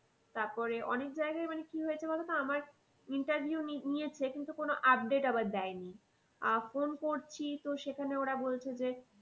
তারপরে অনেক জায়গায় মানে কি হয়েছে বলতো আমার interview নিয়েছে কিন্তু কোনো update আবার দেয়নি। আহ phone করছি তো সেখানে ওরা বলছে যে